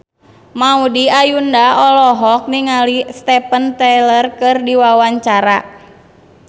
Maudy Ayunda olohok ningali Steven Tyler keur diwawancara